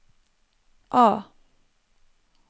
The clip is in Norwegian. A